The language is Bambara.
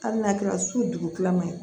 Hali n'a kɛra su dugu kilama ye